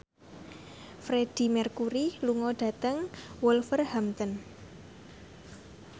Freedie Mercury lunga dhateng Wolverhampton